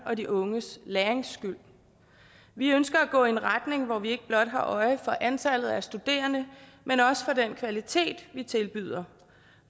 og de unges lærings skyld vi ønsker at gå i en retning hvor vi ikke blot har øje for antallet af studerende men også for den kvalitet vi tilbyder